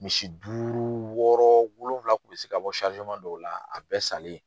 Misi duuru wɔɔrɔ wolonwula kun be se ka bɔ dɔw la a bɛɛ salen .